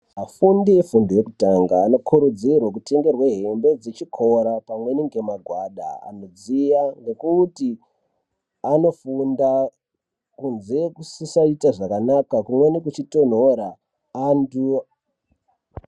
Afundi efundo yekutanga anokurudzirwe kutengerwe hembe dzechikora pamweni ngemagwada anodziya, ngekuti anofunda kunze kusisaita zvakanaka kumweni kuchitonhora. Antu...